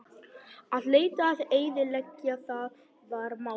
Að leita og eyðileggja: það var málið.